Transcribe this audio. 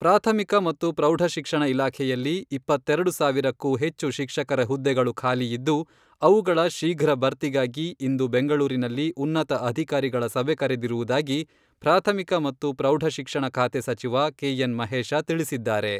ಪ್ರಾಥಮಿಕ ಮತ್ತು ಪ್ರೌಢ ಶಿಕ್ಷಣ ಇಲಾಖೆಯಲ್ಲಿ ಇಪ್ಪತ್ತೆರೆಡು ಸಾವಿರಕ್ಕೂ ಹೆಚ್ಚು ಶಿಕ್ಷಕರ ಹುದ್ದೆಗಳು ಖಾಲಿ ಇದ್ದು, ಅವುಗಳ ಶೀಘ್ರ ಭರ್ತಿಗಾಗಿ ಇಂದು ಬೆಂಗಳೂರಿನಲ್ಲಿ ಉನ್ನತ ಅಧಿಕಾರಿಗಳ ಸಭೆ ಕರೆದಿರುವುದಾಗಿ ಪ್ರಾಥಮಿಕ ಮತ್ತು ಪ್ರೌಢ ಶಿಕ್ಷಣ ಖಾತೆ ಸಚಿವ ಕೆ ಎನ್ ಮಹೇಶ ತಿಳಿಸಿದ್ದಾರೆ.